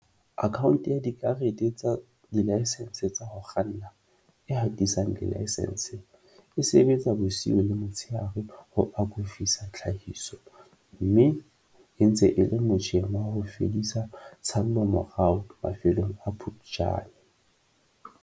Akhaonte ya Dikarete tsa Dilaesense tsa ho Kganna, e hatisang dilaesense, e sebetsa bosiu le motsheare ho akofisa tlhahiso mme e ntse e le motjheng wa ho fedisa tshallomorao mafelong a Phuptjane.